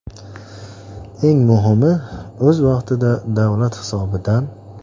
Eng muhimi, o‘z vaqtida va davlat hisobidan.